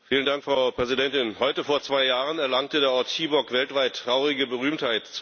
Frau Präsidentin! Heute vor zwei Jahren erlangte der Ort Chibok weltweit traurige Berühmtheit.